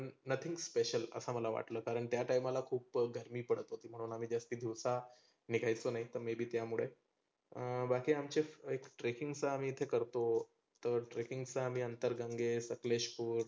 nothing special असं मला वाटल. कारण त्या time ला खुप गर्मी पडत होती. म्हणून आम्ही दिवसा निघायचो नाही तर maybe त्यामुळे आह बाकी आमचे trekking चे आम्ही करतो. तर trekking चं आम्ही अंतरगंगे, सकलेशपुर